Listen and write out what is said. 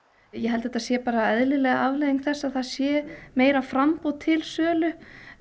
ég held að þetta sé bara eðlileg afleiðing þess að það sé meira framboð til sölu